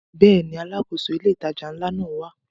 Bẹ́ẹ̀ni, Alákóso ilé ìtajà ńlá náà wá